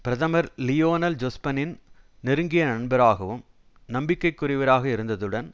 பிரதமர் லியோனல் ஜொஸ்பனின் நெருங்கிய நண்பராகவும் நம்பிக்கைக்குரியவராக இருந்ததுடன்